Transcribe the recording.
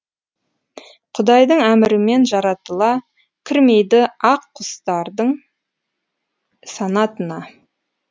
құдайдың әмірімен жаратыла кірмейді ақ құстардың санатына